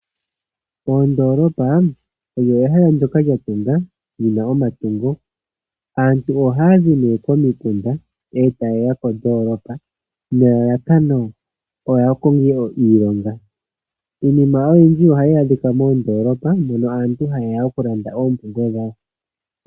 Ondoolopa oyo ehala ndyoka lya tungwa, li na omatungo. Aantu ohaya zi nee komikunda taye ya kondoolopa nelalakano taye ya ya konge iilonga. Iinima oyindji ohayi adhika moondoolopa mono aantu haye ya okulanda oompumbwe dhawo.